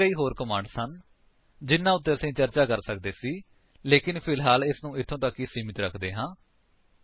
ਇੱਥੇ ਕਈ ਹੋਰ ਕਮਾਂਡਸ ਹਨ ਜਿਹਨਾ ਉੱਤੇ ਅਸੀ ਚਰਚਾ ਕਰ ਸਕਦੇ ਸੀ ਲੇਕਿਨ ਫਿਲਹਾਲ ਇਸਨੂੰ ਇੱਥੇ ਤੱਕ ਹੀ ਸੀਮਿਤ ਰੱਖਦੇ ਹਾਂ